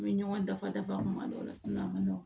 U bɛ ɲɔgɔn dafa dafa kuma dɔw la a ma nɔgɔn